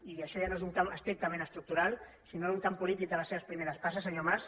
i això ja no és un camp estrictament estructural sinó un camp polític de les seves primeres passes senyor mas